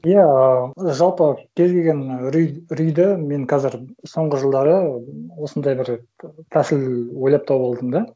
иә ы жалпы кез келген үрейді мен қазір соңғы жылдары осындай бір тәсіл ойлап тауып алдым да